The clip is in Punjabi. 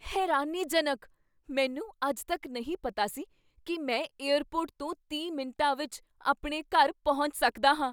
ਹੈਰਾਨੀਜਨਕ! ਮੈਨੂੰ ਅੱਜ ਤੱਕ ਨਹੀਂ ਪਤਾ ਸੀ ਕੀ ਮੈਂ ਏਅਰਪੋਰਟ ਤੋਂ ਤੀਹ ਮਿੰਟਾਂ ਵਿੱਚ ਆਪਣੇ ਘਰ ਪਹੁੰਚ ਸਕਦਾ ਹਾਂ